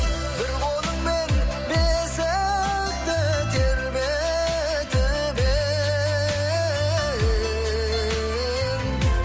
бір қолыңмен бесікті тербетіп ең